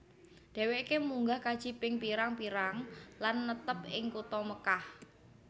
Dheweke munggah kaji ping pirang pirang lan netep ing kutha Mekkah